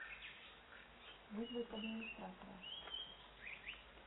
вызвать администратора